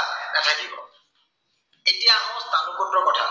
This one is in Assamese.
এতিয়া আহো ৰ কথা।